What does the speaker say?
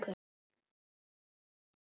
Hvað sagði Davíð Oddsson?